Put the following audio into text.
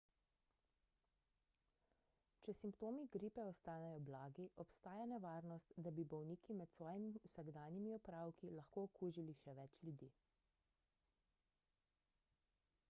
če simptomi gripe ostanejo blagi obstaja nevarnost da bi bolniki med svojimi vsakodnevnimi opravki lahko okužili še več ljudi